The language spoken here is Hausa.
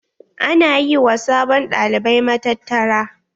Ana yi wa sabon ɗalibai matattara.